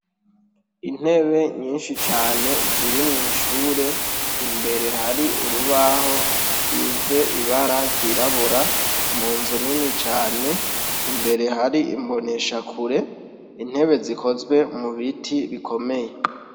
Intebe nyinshi cane ziri mw' ishure; imbere hari urubaho rusize ibara ryirabura, mu nzu nini cane. Imbere hari imboneshakure, intebe zikozwe mu biti bikomeye.